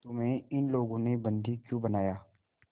तुम्हें इन लोगों ने बंदी क्यों बनाया